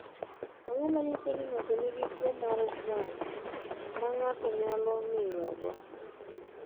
Ang’o ma nyiso ni ng’ato nigi tuwo mar wang’ ma ng’ato nyalo ng’iyogo?